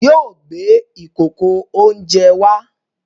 Yóò gbé ìkòkò-oúnjẹ wá!